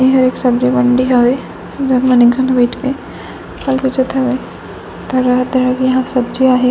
यह एक सब्जी मंडी हवे जे म एक जन बइठ के फल बेचत हवे तरह - तरह के यहाँ पे सब्जियां है।